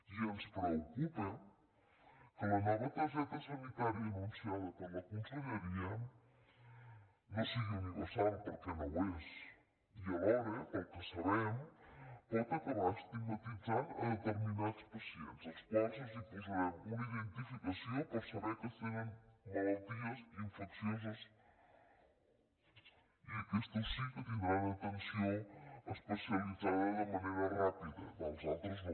i ens preocupa que la nova targeta sanitària anunciada per la conselleria no sigui universal perquè no ho és i alhora pel que sabem pot acabar estigmatitzant determinats pacients als quals els posarem una identificació per saber que tenen malalties infeccioses i aquestos sí que tindran atenció especialitzada de manera ràpida els altres no